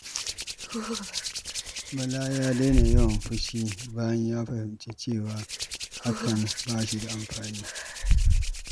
Bala ya daina yawan fushi bayan ya fahimci cewa hakan ba shi da amfani.